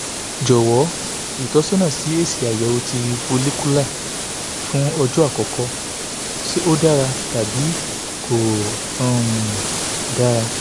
jowo itosona si esi ayewo ti follicular fun ojo akoko se o dara tabi ko um dara